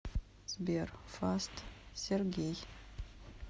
сбер фаст сергей